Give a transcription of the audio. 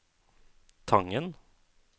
Tangen